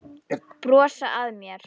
Brosa að mér!